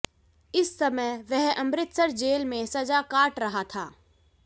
इस समय वह अमृतसर जेल में सजा काट रहा था